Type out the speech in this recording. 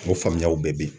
O faamuyaw bɛɛ bɛ yen